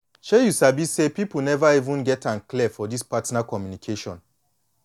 shay you sabi say people never even get am clear for this partner communication